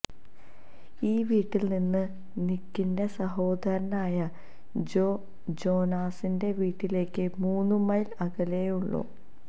ഈ വീട്ടിൽ നിന്ന് നിക്കിന്റെ സഹോദരനായ ജോ ജൊനാസിന്റെ വീട്ടിലേക്ക് മൂന്നു മൈൽ അകലമേയുള്ളൂ